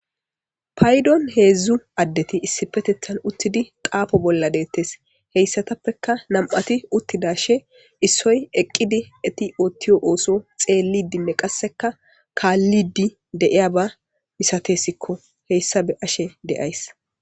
Paydon heezu addeti issipetettan uttidi xaafo bolla de7ettes. Heyssatappeka nam7ati uttidashe issoy eqqidi eti oottiyo ooso xeellidinne qasseka kaallidi de7iyaba misatessikko. Heyssa beashe de7ays.